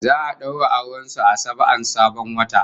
Za'a daura auren su a saba'an sabon wata